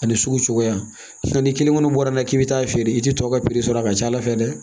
Ani sugu cogoya ni kelen kɔni bɔra n'i k'i bɛ t'a feere i tɛ tɔw ka sɔrɔ a ka ca ala fɛ dɛ